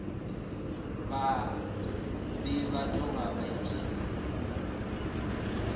be ba tloga ba ipshina